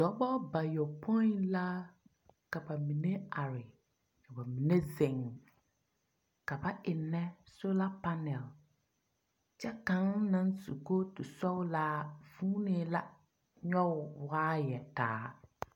Dɔbɔ bayɔpoi la ka ba mine are, ka ba mine zeŋ. Ka ba ennɛ soola panɛl. Kyɛ kaŋ naŋ su kootu sɔglaa huunee la nyɔe o waayɛ taa.